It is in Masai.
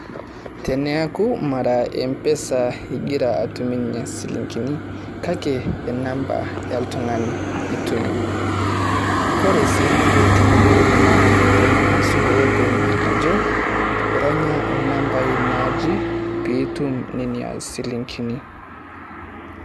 Teneaku mara Mpesa igira atumunyie silingini kake e namba oltung'ani. Kore sii ninko teniyiolu naa tenang'asu lopeny ajo, ironya nambai naaje pitum nena silingini.